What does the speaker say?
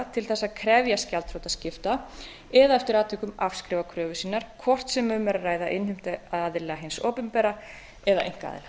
til þess að krefjast gjaldþrotaskipta eða eftir atvikum afskrifa kröfur sínar hvort sem um er að ræða innheimtuaðila hins opinbera eða einkaaðila